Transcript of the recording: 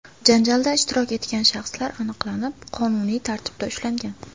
Janjalda ishtirok etgan shaxslar aniqlanib, qonuniy tartibda ushlangan.